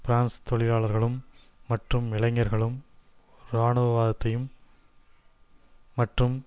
France தொழிலாளர்களும் மற்றும் இளைஞர்களும் ராணுவவாதத்தையும் மற்றும்